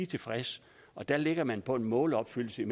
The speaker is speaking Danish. tilfredse og der ligger man på en målopfyldelse